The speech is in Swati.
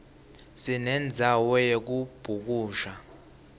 sinemdzalo yekubhukusha